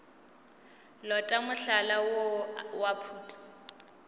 lota mohlala woo wa phuti